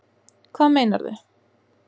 Hvað meinarðu?